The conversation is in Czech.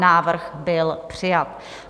Návrh byl přijat.